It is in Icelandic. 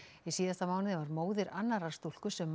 í síðasta mánuði var móðir annarrar stúlku sem